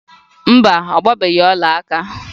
Mba, ọ gbaghị ọlaaka